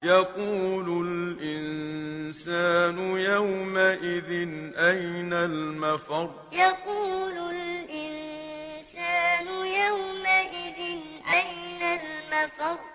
يَقُولُ الْإِنسَانُ يَوْمَئِذٍ أَيْنَ الْمَفَرُّ يَقُولُ الْإِنسَانُ يَوْمَئِذٍ أَيْنَ الْمَفَرُّ